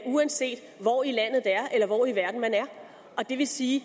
uanset hvor i landet det er eller hvor i verden man er det vil sige